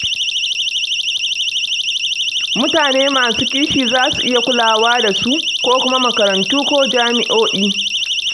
Mutane masu kishi za su iya kulawa da su, ko kuma makarantu ko jami'o'i.